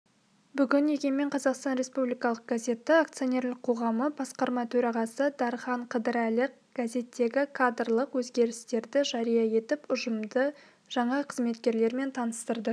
бүгін егемен қазақстан республикалық газеті акционерлік қоғамы басқарма төрағасы дархан қыдырәлі газеттегі кадрлық өзгерістерді жария етіп ұжымды жаңа қызметкерлермен таныстырды